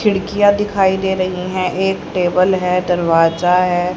खिड़कियां दिखाई दे रही हैं एक टेबल है दरवाजा है।